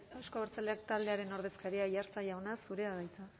euzko abertzaleak taldearen ordezkaria aiartza jauna zurea da hitza